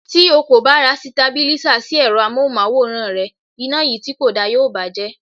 Tí o kò bá ra Sitabílísà sí èrọ amóhùnmáwòrán rẹ, iná yìí tí kò da yóò bàa jẹ́.